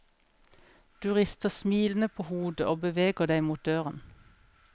Du rister smilende på hodet og beveger deg mot døren.